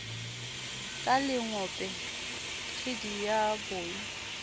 ka lengope kgidi ya boi